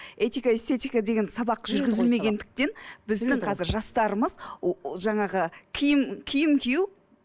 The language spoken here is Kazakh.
этика эстетика деген сабақ жүргізілмегендіктен біздің қазір жастарымыз жаңағы киім киім кию